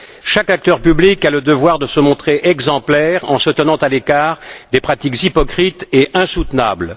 Chaque acteur public a le devoir de se montrer exemplaire en se tenant à l'écart des pratiques hypocrites et insoutenables.